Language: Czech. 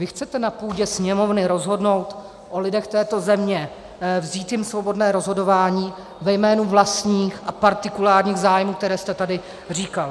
Vy chcete na půdě Sněmovny rozhodnout o lidech této země, vzít jim svobodné rozhodování ve jménu vlastních a partikulárních zájmů, které jste tady říkal.